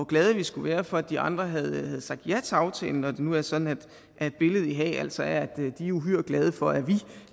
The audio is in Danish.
glade vi skulle være for at de andre havde sagt ja til aftalen når det nu er sådan at billedet i haag altså er at de er uhyre glade for at